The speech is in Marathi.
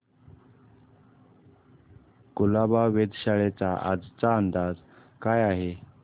कुलाबा वेधशाळेचा आजचा अंदाज काय आहे